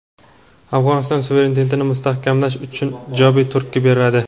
Afg‘oniston suverenitetini mustahkamlash uchun ijobiy turtki beradi.